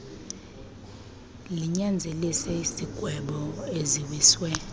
linyanzelise izigwebo eziwiswe